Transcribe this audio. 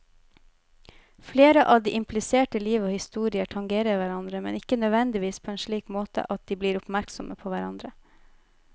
Flere av de implisertes liv og historier tangerer hverandre, men ikke nødvendigvis på en slik måte at de blir oppmerksomme på hverandre.